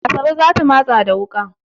Asabe za ta matsa da wuƙa.